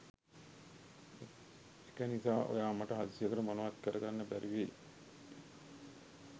එක නිසා ඔයා මට හදිස්සයට මොනවත් කර ගන්න බැරිවෙයි